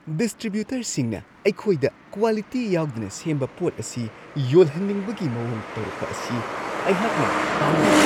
ꯗꯤꯁꯇ꯭ꯔꯤꯕ꯭ꯌꯨꯇꯔꯁꯤꯡꯅ ꯑꯩꯈꯣꯏꯗ ꯀ꯭ꯋꯥꯂꯤꯇꯤ ꯌꯥꯎꯗꯅ ꯁꯦꯝꯕ ꯄꯣꯠ ꯑꯁꯤ ꯌꯣꯜꯍꯟꯅꯤꯡꯕꯒꯤ ꯃꯋꯣꯡ ꯇꯧꯔꯛꯄ ꯑꯁꯤ ꯑꯩꯍꯥꯛꯅ ꯄꯥꯝꯗꯦ ꯫